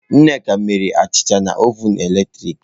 Nneka mere achicha na ovun eletrik.